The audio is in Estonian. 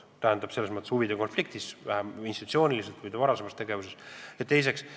Ei tohi kahtlustada vähimatki huvide konflikti, ka mitte institutsiooniliselt või seotult selle inimese varasema tegevusega.